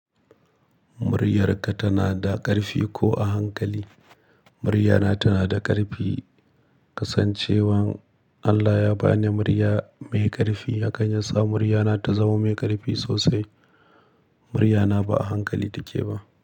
Muryarka tana da ƙarfi ko a hankali? Muryana tana da ƙarfi, kasancewan Allah ya ba ni murya mai ƙarfi, hakan yasa muryana ta zama mai ƙarfi sosai. Muryana ba a hankali take ba.